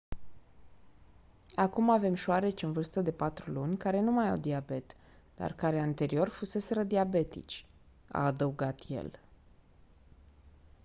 acum avem șoareci în vârstă de 4 luni care nu mai au diabet dar care anterior fuseseră diabetici a adăugat el